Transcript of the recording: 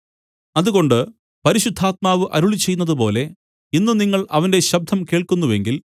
അതുകൊണ്ട് പരിശുദ്ധാത്മാവ് അരുളിച്ചെയ്യുന്നതുപോലെ ഇന്ന് നിങ്ങൾ അവന്റെ ശബ്ദം കേൾക്കുന്നുവെങ്കിൽ